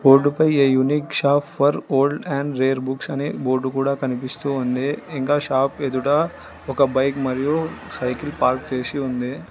board పై a unique shop for old and rare books అని board కూడ కనిపిస్తూ ఉంది ఇంకా షాప్ ఎదుటా ఒక బైక్ మరియు సైకిల్ పార్క్ చేసి ఉంది